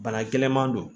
Bana gɛlɛnman don